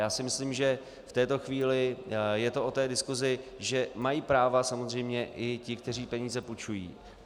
Já si myslím, že v této chvíli je to o té diskusi, že mají práva samozřejmě i ti, kteří peníze půjčují.